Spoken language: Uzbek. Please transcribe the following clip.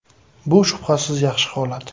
Bu, shubhasiz, yaxshi holat.